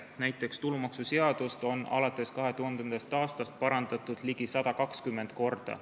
Näiteks on tulumaksuseadust alates 2000. aastast parandatud ligi 120 korda.